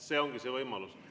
See ongi see võimalus.